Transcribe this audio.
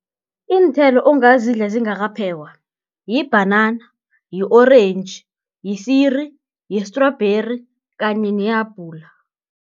Iinthelo ongazidla zingakaphekwa, yibhanana, yi-orentji, yisiri, yi-strawberry kanye nehabhula.